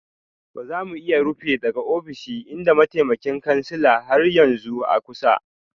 Ba za mu iya rufe daga ofishin idan mataimakin kansila har yanzu a kusa